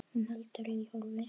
Hún heldur í horfi.